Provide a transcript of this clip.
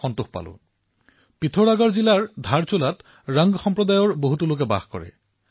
এপাৰে নেপাল আৰু আনফালে কালীগংগা সেয়ে ধাৰচুলাৰ বিষয়ে শুনাৰ লগে লগে স্বাভাৱিকতেই মোৰ ইয়াৰ ওপৰত ধ্যানকেন্দ্ৰিত হল